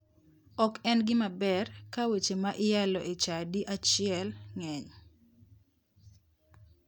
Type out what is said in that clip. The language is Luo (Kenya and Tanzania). Ok en gima ber ka weche ma iyalo e chadi achiel ng'eny.